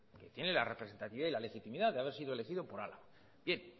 que tiene la representatividad y la legitimidad de haber sido elegido por álava bien